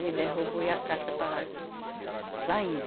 Ele derrubou e a casca estava saindo.